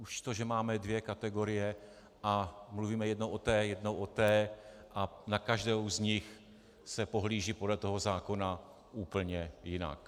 Již to, že máme dvě kategorie a mluvíme jednou o té, jednou o té a na každou z nich se pohlíží podle toho zákona úplně jinak.